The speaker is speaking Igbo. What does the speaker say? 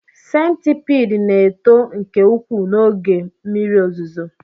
Centipede na-eto nke ukwuu n'oge mmiri ozuzo